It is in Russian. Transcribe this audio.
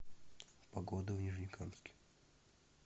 погода в нижнекамске